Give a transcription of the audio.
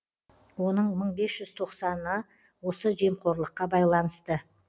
оның мың бес жүз тоқсаны осы жемқорлыққа байланысты